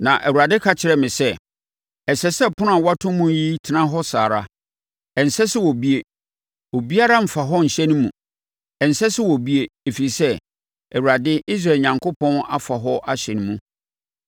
Na Awurade ka kyerɛɛ me sɛ, “Ɛsɛ sɛ ɛpono a wɔato mu yi tena hɔ saa ara. Ɛnsɛ sɛ wɔbue. Obiara mmfa hɔ nhyɛne mu. Ɛnsɛ sɛ wɔbue, ɛfiri sɛ Awurade, Israel Onyankopɔn afa hɔ ahyɛne mu.